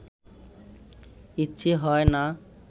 ইচ্ছে হয় না